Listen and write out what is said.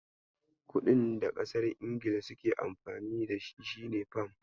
Kuɗin da ƙasar Ingila suke Amfani da shi shine Fam.